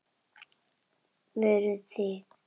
Voruð þið.